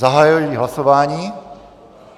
Zahajuji hlasování.